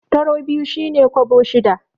Taro sau biyu shi ne kwabo shida.